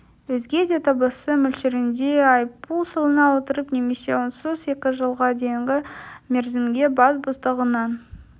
өзге де табысы мөлшерінде айыппұл салына отырып немесе онсыз екі жылға дейінгі мерзімге бас бостандығынан